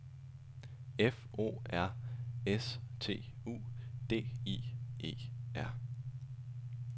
F O R S T U D I E R